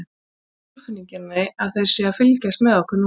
Ég hef það á tilfinningunni þeir séu að fylgjast með okkur núna.